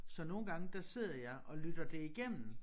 Så nogle gange der sidder jeg og lytter det igennem